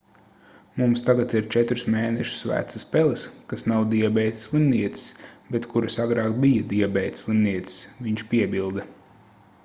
mums tagad ir 4 mēnešus vecas peles kas nav diabēta slimnieces bet kuras agrāk bija diabēta slimnieces viņš piebilda